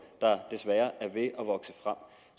der desværre er ved at vokse frem